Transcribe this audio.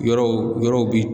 Yɔrɔw yɔrɔw bi